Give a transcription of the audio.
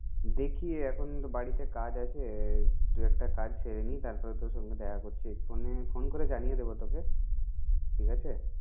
দেখি এখন তো বাড়িতে কাজ আছে দুই একটা কাজ সেরে নিই তারপরে তোর সঙ্গে দেখা করছি ফোনে ফোন করে জানিয়ে দেবো তোকে ঠিক আছে?